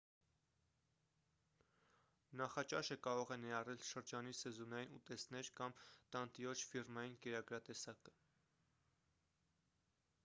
նախաճաշը կարող է ներառել շրջանի սեզոնային ուտեստներ կամ տանտիրոջ ֆիրմային կերակրատեսակը